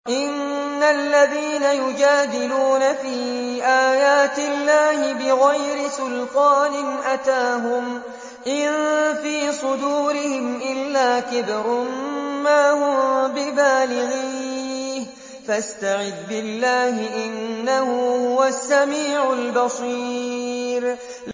إِنَّ الَّذِينَ يُجَادِلُونَ فِي آيَاتِ اللَّهِ بِغَيْرِ سُلْطَانٍ أَتَاهُمْ ۙ إِن فِي صُدُورِهِمْ إِلَّا كِبْرٌ مَّا هُم بِبَالِغِيهِ ۚ فَاسْتَعِذْ بِاللَّهِ ۖ إِنَّهُ هُوَ السَّمِيعُ الْبَصِيرُ